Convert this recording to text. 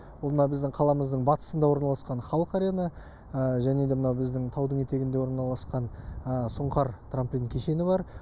ол мына біздің қаламыздың батысында орналасқан халық арена және де мына біздің таудың етегінде орналасқан сұңқар трамплин кешені бар